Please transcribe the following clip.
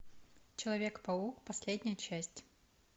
человек паук последняя часть